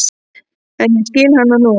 En ég skil hana nú.